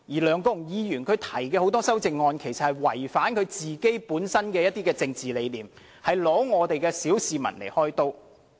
梁國雄議員提出的很多項修正案其實違反其本身的政治理念，是拿小市民來開刀。